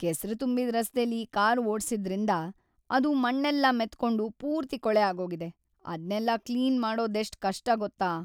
ಕೆಸ್ರು ತುಂಬಿದ್ ರಸ್ತೆಲಿ ಕಾರ್‌ ಓಡ್ಸಿದ್ರಿಂದ ಅದು ಮಣ್ಣೆಲ್ಲ ಮೆತ್ಕೊಂಡು ಪೂರ್ತಿ ಕೊಳೆ ಆಗೋಗಿದೆ. ಅದ್ನೆಲ್ಲ ಕ್ಲೀನ್‌ ಮಾಡೋದೆಷ್ಟ್‌ ಕಷ್ಟ ಗೊತ್ತಾ?